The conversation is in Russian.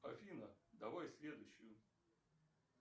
афина давай следующую